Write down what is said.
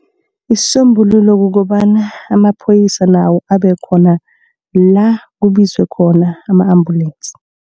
Isisombululo kukobana amaphoyisa nawo abekhona la kubizwe khona ama-ambulensi.